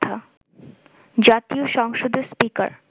জাতীয় সংসদের স্পীকার